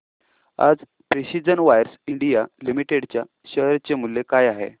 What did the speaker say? आज precision wires India limited च्या share चे मूल्य काय आहे